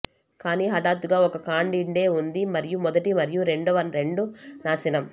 కానీ హఠాత్తుగా ఒక కాండిడే ఉంది మరియు మొదటి మరియు రెండవ రెండు నాశనం